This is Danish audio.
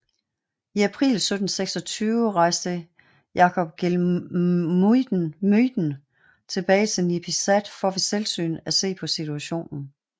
I april 1726 rejste Jacob Geelmuyden tilbage til Nipisat for ved selvsyn at se på situationen